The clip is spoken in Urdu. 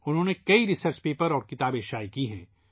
انہوں نے کئی تحقیقی مقالے اور کتابیں شائع کی ہیں